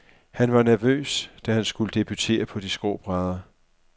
Han var nervøs, da han skulle debutere på de skrå brædder.